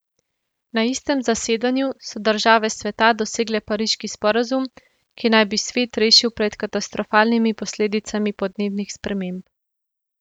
Na istem zasedanju so države sveta dosegle pariški sporazum, ki naj bi svet rešil pred katastrofalnimi posledicami podnebnih sprememb.